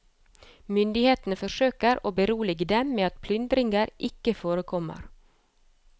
Myndighetene forsøker å berolige dem med at plyndringer ikke forekommer.